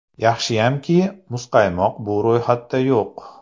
Yaxshiyamki, muzqaymoq bu ro‘yxatda yo‘q.